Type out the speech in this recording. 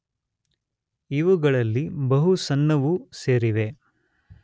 ಇವುಗಳಲ್ಲಿ ಬಹು ಸಣ್ಣವೂ ಸೇರಿವೆ.